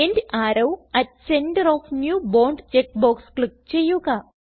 end arrow at center of new bond check box click ചെയ്യുക